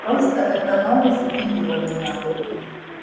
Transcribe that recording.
просто эта новость удивила меня